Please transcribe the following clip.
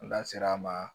N da sera a ma